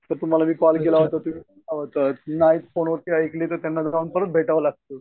तर तुम्हाला मी कॉल केला होता नाहीतर फोनवर ऐकले तर परत जाऊन भेटावं लागतं.